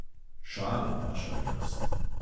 Šala, vaša milost.